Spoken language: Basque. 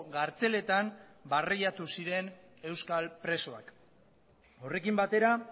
kartzeletan barreiatu ziren euskal presoak horrekin batera